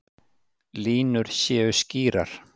Línur séu skýrar